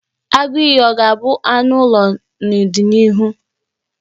Agụiyi ọ ga-abụ anụ ụlọ n'ọdịnịhu?